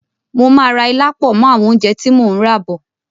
Mo máa ra ilá pọ̀ mọ́ àwọn oúnjẹ tí mo ún rà bọ̀